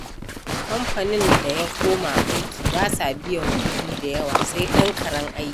Kamfanin da ya koma aiki ba sa biyan kuɗi da yawa, sai ɗan karen aiki.